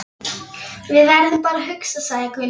Við verðum bara að hugsa, sagði Gunni.